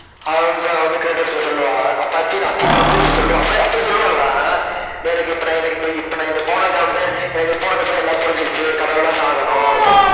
அவன்ஷா வந்து க்ரேடோஸ்ட்ட சொல்லுவா அப்ப அதீனா அதீனா வந்து, அப்ப சொல்லுவா அப்பவே அப்ப சொல்லுவால்லடா அஹ் எனக்கு இப்ப நான் எனக்கு இந்த இப்ப நான் போனதுக்காக வேண்டி எனக்கு போனதுக்கு அப்புறம் எல்லாம் புரிஞ்சிருச்சு கடவுள்லாம் சாகணும் செத்~